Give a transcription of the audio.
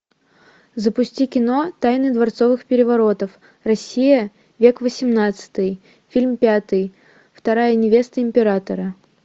запусти кино тайны дворцовых переворотов россия век восемнадцатый фильм пятый вторая невеста императора